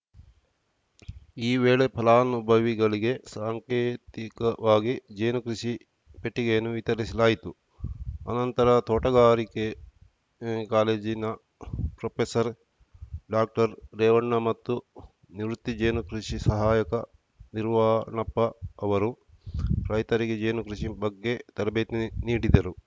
ಈ ವೇಳೆ ಫಲಾನುಭವಿಗಳಿಗೆ ಸಾಂಕೇತಿಕವಾಗಿ ಜೇನು ಕೃಷಿ ಪೆಟ್ಟಿಗೆಯನ್ನು ವಿತರಿಸಲಾಯಿತು ಅನಂತರ ತೋಟಗಾರಿಕೆ ಕಾಲೇಜಿನ ಪ್ರೊಪೆಸರ್ ಡಾಕ್ಟರ್ರೇವಣ್ಣ ಮತ್ತು ನಿವೃತ್ತಿ ಜೇನು ಕೃಷಿ ಸಹಾಯಕ ನಿರ್ವಾಣಪ್ಪ ಅವರು ರೈತರಿಗೆ ಜೇನುಕೃಷಿ ಬಗ್ಗೆ ತರಬೇತಿ ನೀಡಿದರು